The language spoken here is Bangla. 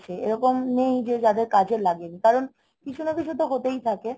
এরকম নেই যে যাদের কাজে লাগেনি. কারণ কিছু না কিছু তো হতেই থাকে